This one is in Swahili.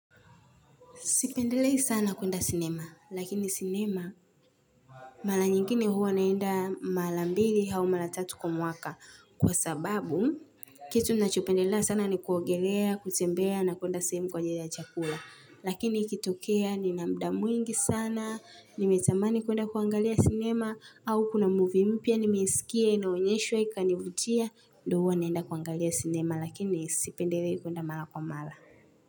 Sipendelei sana kuenda sinema, lakini sinema mara nyingine huwa naenda mara mbili au mara tatu kwa mwaka kwa sababu kitu ninachopendelea sana ni kuogelea, kutembea na kuenda sehemu kwa ajili ya chakula. Lakini ikitokea, nina muda mwingi sana, nimetamani kuenda kuangalia sinema au kuna movie mpya, nimesikia, inaonyeshwa, ikanivutia, ndio huwa naenda kuangalia sinema lakini sipendelei kuenda mara kwa mara.